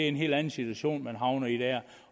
en helt anden situation